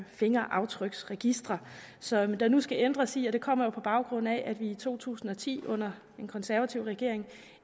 fingeraftryksregistre som der nu skal ændres i og det kommer jo på baggrund af at vi i to tusind og ti under den konservative regering